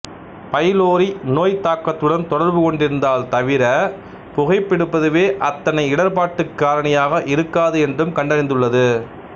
pylori நோய்த்தாக்கத்துடன் தொடர்புகொண்டிருந்தால் தவிர புகைப்பிடிப்பதுவே அத்தனை இடர்ப்பாட்டுக்குக் காரணியாக இருக்காது என்றும் கண்டறிந்துள்ளது